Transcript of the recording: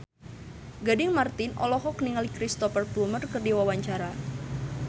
Gading Marten olohok ningali Cristhoper Plumer keur diwawancara